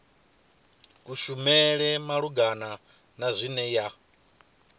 kushumele malugana na zwine ya